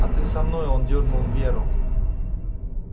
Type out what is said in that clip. а ты со мной он дёрнул веру